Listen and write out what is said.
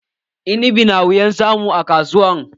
Inibi na wuyan samu a kasuwa